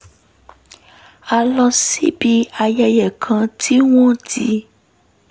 a lọ síbi ayẹyẹ kan tí wọ́n ti